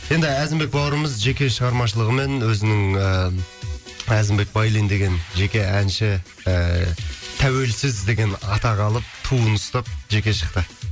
енді әзімбек бауырымыз жеке шығармашылығымен өзінің ііі әзімбек байлин деген жеке әнші ііі тәуелсіз деген атақ алып туын ұстап жеке шықты